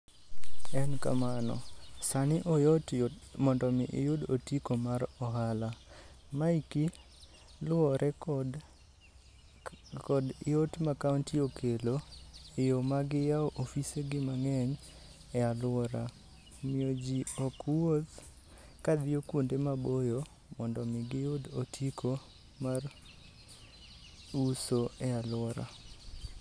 En kamano, sani oyot yot mondo iyud otiko mar ohala. Maeki luwore kod yot ma kaonti okelo. E yo ma giyao ofise gi mang'eny e alwora, omiyo ji ok wuoth ka dhiyo kuonde maboyo mondo mi giyud otiko mar uso e alwora.